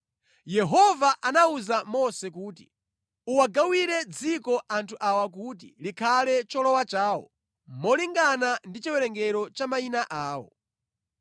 “Uwagawire dziko anthu awa kuti likhale cholowa chawo molingana ndi chiwerengero cha mayina awo.